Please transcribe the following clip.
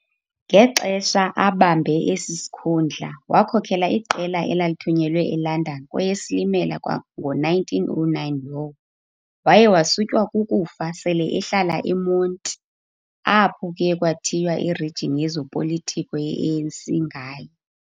Ngexesha abambe esi sikhundla wakhokela iqela elalithunyelwe eLondon kweyeSilimela kwango-1909 lowo. Waye wasutywa kukufa sele ehlala eMonti, apho kuye kwathiywa iRegion yezopolitiko yeANC ngaye.